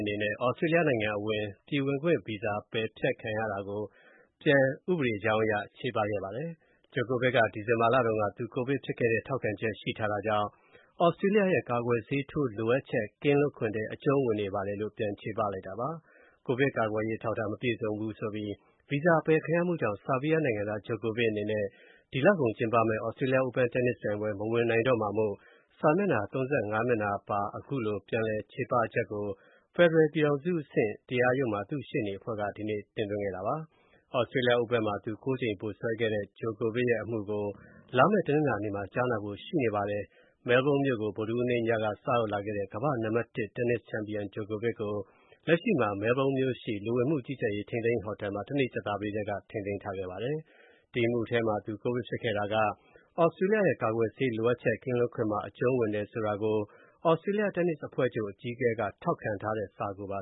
အနေနဲ့ သြစတြေးလျနိုင်ငံအဝင် ပြည်ဝင်ခွင့်ဗီဇာ ပယ်ဖျက်ခံခဲ့ရတဲ့အပေါ် ဥပဒေကြောင်းအရ ပြန်ပြီး ချေပ တင်ပြခဲ့ပါတယ်။ Djokovic က ဒီဇင်ဘာလတုန်းက သူ ကိုဗစ်ဖြစ်ခဲ့တဲ့ ထောက်ခံချက် ရှိထားတာကြောင့် သြစတြေးလျရဲ့ ကာကွယ်ဆေးထိုးလိုအပ်ချက် ကင်းလွတ်ခွင့်ထဲ အကျုံးဝင်နေပါတယ်လို့ ဥပဒေကြောင်းအရ ပြန်ချေပလိုက်တာပါ။ ကိုဗစ်ကာကွယ်ရေး အထောက်အထား မပြည့်စုံဘူးဆိုပြီး ဗီဇာအပယ်ခံရမှုကြောင့် ဆားဘီးယားနိုင်ငံသား Djokovic အနေနဲ့ ဒီလကုန်ကျင်းပမယ့် Australia Open တင်းနစ်ပြိုင်ပွဲ မဝင်နိုင်တော့မှာမို့ စာမျက်နှာ ၃၅ မျက်နှာပါ အမူတွဲကို ဖက်ဒရယ် ပြည်ထောင်စုအဆင့် တရားရုံးမှာ သူ့ရှေ့နေအဖွဲ့က ဒီနေ့ တင်သွင်းခဲ့တာပါ။ Australia Open မှာ သူ ၉ ကြိမ် ဗိုလ်စွဲခဲ့တဲ့ Djokovic ရဲ့ အမှုကို လာမယ့် တနင်္လာနေ့မှာ ကြားနာဖို့ ရှိနေပါတယ်။ မဲလ်ဘုန်းမြို့ကို ဗုဒ္ဓဟူးနေ့ညက စရောက်လာခဲ့တဲ့ ကမ္ဘာ့နံပါတ် ၁ တင်းနစ်ချန်ပီယံ Djokovic ကို လက်ရှိမှာ မဲလ်ဘုန်းမြို့ရှိ လူဝင်မှုကြီးကြပ်ရေး ထိန်းသိမ်းရေးဟိုတယ်မှာ တနေ့ ကြာသပတေးတည်းက ထိန်းသိမ်းထားခဲ့ပါတယ်။ ဒီအမှုထဲမှာ သူကိုဗစ်ဖြစ်ခဲ့တာက သြစတြေးလျရဲ့ ကာကွယ်ဆေး လိုအပ်ချက် ကင်းလွတ်ခွင့်မှာ အကျုံးဝင်တယ်ဆိုတာကို သြစတြေးလျ တင်းနစ်အဖွဲ့ချုပ် အကြီးအကဲက ထောက်ခံထားတဲ့ စာကိုပါ